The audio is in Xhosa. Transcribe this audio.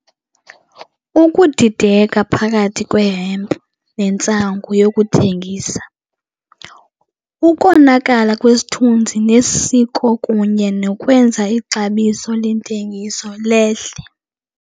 Ukudideka phakathi kwe-hemp nentsangu yokuthengisa, ukonakala kwesithunzi nesiko kunye nokwenza ixabiso lentengiso lehle.